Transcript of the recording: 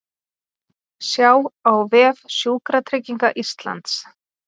Sjá á vef Sjúkratrygginga Íslands